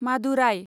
Madurai